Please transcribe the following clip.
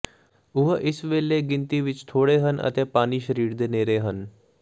ਉਹ ਇਸ ਵੇਲੇ ਗਿਣਤੀ ਵਿਚ ਥੋੜ੍ਹੇ ਹਨ ਅਤੇ ਪਾਣੀ ਸਰੀਰ ਦੇ ਨੇੜੇ ਹਨ